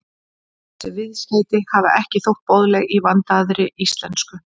Þessi viðskeyti hafa ekki þótt boðleg í vandaðri íslensku.